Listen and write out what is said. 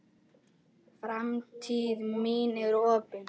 Framtíð mín er opin.